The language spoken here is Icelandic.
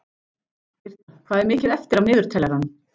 Birta, hvað er mikið eftir af niðurteljaranum?